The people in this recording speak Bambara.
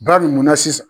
Ba min mun na sisan